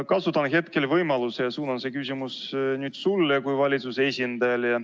Kasutan hetkel võimalust ja suunan küsimuse sulle kui valitsuse esindajale.